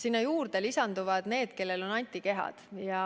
Aga sellele lisanduvad ka need, kellel on antikehad.